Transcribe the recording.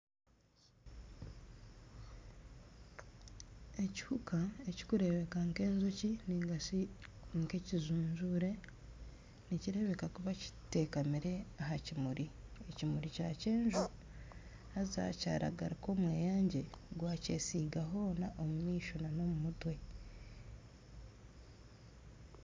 Ekihuuka ekirikureebeka nk'enjoki nigashi ekijunjure nikireebeka kuba kiteekamire aha kimuri, ekimuri kya kyenju haaza kyaragarika omweyangye gwakyesiga hoona omu maisho n'omu mutwe.